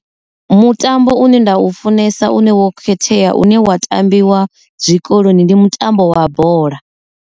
Mutambo une nda u funesa une wo khethea une wa tambiwa zwikoloni ndi mutambo wa bola.